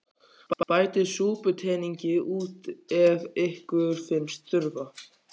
Bætið súputeningi út í ef ykkur finnst þurfa.